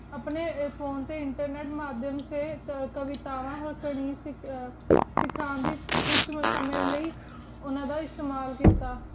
ਅਪਨੀ phone ਟੀ internet ਨਾਲ ਕਾਵੇਤਾਵਣ ਵਾਸ੍ਟੀ ਥ੍ਰੇਰ ਸਿਖਾਂ ਕੁਛ ਸਮਜ ਸਮਜ ਲੈ ਉਨਾ ਦਾ ਅਸ੍ਤ੍ਮਾਲ ਕੀਤਾ